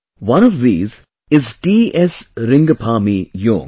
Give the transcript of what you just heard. One of these is T S Ringphami Young